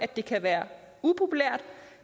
det kan være upopulært